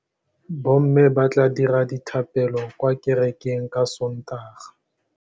Bommê ba tla dira dithapêlô kwa kerekeng ka Sontaga.